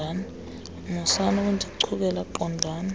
musani ukundichukela qondani